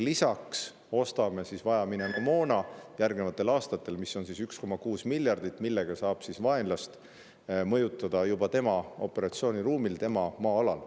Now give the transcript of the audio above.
Lisaks ostame järgnevatel aastatel 1,6 miljardi eest vajaminevat moona, et saaks vaenlast mõjutada tema operatsiooniruumis, tema maa-alal.